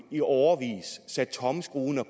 i årevis sat tommelskruerne